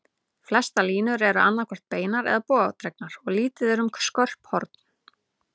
Flestar línurnar eru annað hvort beinar eða bogadregnar, og lítið er um skörp horn.